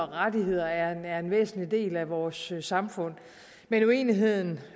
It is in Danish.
rettigheder er en væsentlig del af vores samfund men uenigheden